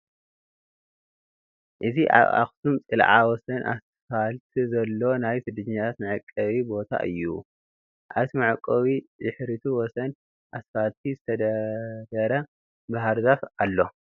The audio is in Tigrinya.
እዚ አብ አክሱም ፅልዐ ወሰን አስፋልት ዝሎ ናይ ስደተኛታት መዕቆቢ ቦታ እዩ፡፡ አብቲ መዕቆቢ ድሕሪቱ ወሰን አስፋልት ዝተደርደረ ባህርዛፍ አሎ፡፡